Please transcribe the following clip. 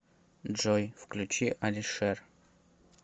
джой включи алишер